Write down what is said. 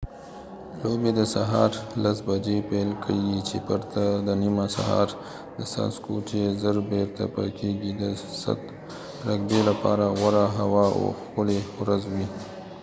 لوبې د سهار 10:00 بجې پیل کېږي چې پرته د نیمه سهار د څاڅکو چې زر بیرته پاکېږي د 7 رګبي لپاره غوره هوا او ښکلې ورځ وي